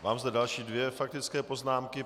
Mám zde další dvě faktické poznámky.